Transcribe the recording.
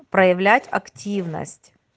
проявлять активность